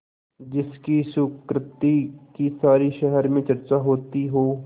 जिसकी सुकृति की सारे शहर में चर्चा होती हो